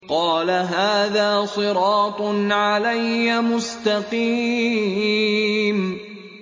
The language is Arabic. قَالَ هَٰذَا صِرَاطٌ عَلَيَّ مُسْتَقِيمٌ